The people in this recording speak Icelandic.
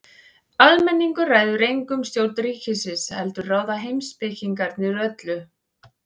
Almenningur ræður engu um stjórn ríkisins heldur ráða heimspekingarnir öllu.